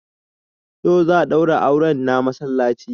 Yau za a daura auren na masallaci